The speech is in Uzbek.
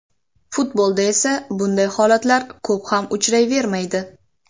Futbolda esa bunday holatlar ko‘p ham uchrayvermaydi.